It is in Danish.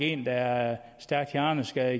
en der er stærkt hjerneskadet